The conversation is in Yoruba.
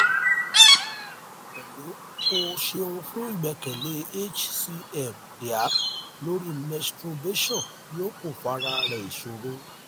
hello o ṣeun fun gbẹkẹle hcm dear lori menstrubation yoo ko fa rẹ isoro